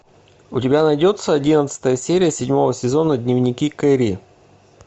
у тебя найдется одиннадцатая серия седьмого сезона дневники кэрри